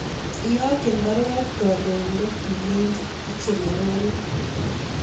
Iyokyi baruet kandoindet ilechini ichelewani